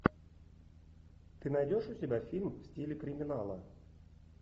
ты найдешь у себя фильм в стиле криминала